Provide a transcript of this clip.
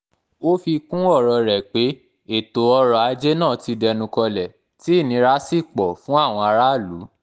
ó fi kún ọ̀rọ̀ rẹ̀ pé ètò ọ̀rọ̀-ajé náà ti dẹnu kọlẹ̀ tí ìnira sì pọ̀ fún àwọn aráàlú